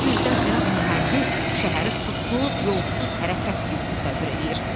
Bu üzdən İraq mühəndis şəhəri susuz, yollsuz, hərəkətsiz təsəvvür eləyir.